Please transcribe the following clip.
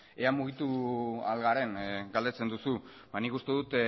ea mugitu ahal garen galdetzen duzu nik uste dut